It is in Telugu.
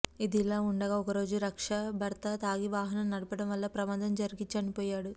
ఇది ఇలా ఉండగా ఒకరోజు రక్ష భర్త తాగి వాహనం నడపడం వలన ప్రమాదం జరిగి చనిపోయాడు